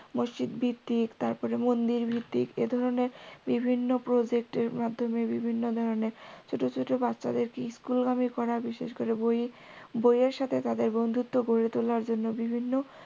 মসজিদ ভিত্তিক তারপর মন্দির ভিত্তিক এই ধরনের বিভিন্ন প্রোজেক্ট এর মাধ্যমে বিভিন্ন ধরণের ছোটো ছোটো বাচ্চাদের school গামী করা বিশেষ করে বই বই এর সাথে তাদের বন্ধুত্ব করে তোলার জন্য বিভিন্ন